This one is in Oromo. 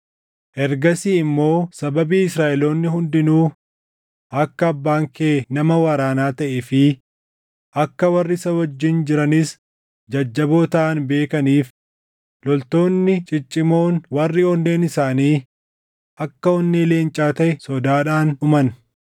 Ergasii immoo sababii Israaʼeloonni hundinuu akka abbaan kee nama waraanaa taʼee fi akka warri isa wajjin jiranis jajjaboo taʼan beekaniif loltoonni ciccimoon warri onneen isaanii akka onnee leencaa taʼe sodaadhaan dhuman.